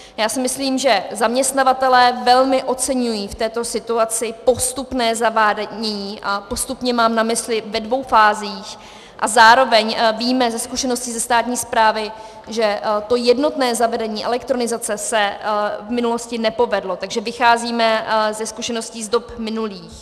Já si myslím, že zaměstnavatelé velmi oceňují v této situaci postupné zavádění, a postupně mám na mysli ve dvou fázích, a zároveň víme ze zkušenosti ze státní správy, že to jednotné zavedení elektronizace se v minulosti nepovedlo, takže vycházíme ze zkušeností z dob minulých.